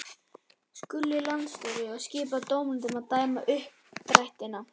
Skuli landsstjórnin og skipa dómendur til að dæma uppdrættina.